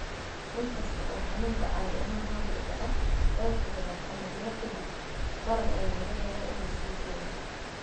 Inkasta oo xanuunku caadi ahaan hoos u dhaco dhowr toddobaad ama bilo ka dib, barar ayaa laga yaabaa inuu sii jiro.